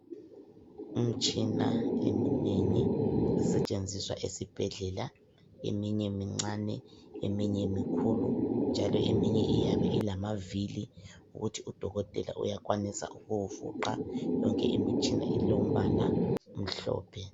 Imtshina eminengi esetshenziswa esibhedlela. Eminye mincane, eminye mikhulu, njalo eminye iyabe ilamavili. Ukuthi udokotela uyakwanisa ukuwufuqa, Yonke imitshina, ilombala omhlophe.